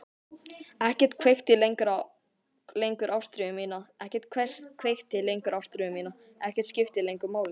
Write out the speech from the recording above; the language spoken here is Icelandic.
Ekkert kveikti lengur ástríðu mína, ekkert skipti lengur máli.